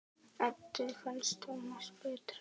Eddu fannst Tómas betra.